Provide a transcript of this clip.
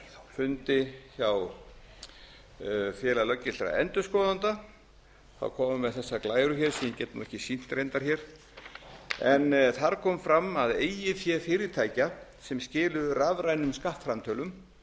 fundi hjá félagi löggiltra endurskoðenda kom hann með þessar glærur hér sem ég get nú ekki sýnt reyndar hér en þar kom fram að eigið fé fyrirtækja sem skiluðu rafrænum skattframtölum frá